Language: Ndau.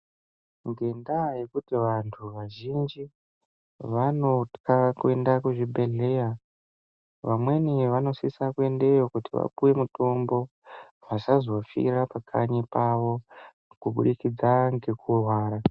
Nendaa yekuti antu azhinji anotya kuenda kuzvibhehlera amweni anosisa ,kuyendeyo kuti vapiwe mitombo vasazofira pakanyi pavo kubudikidza nekurwara.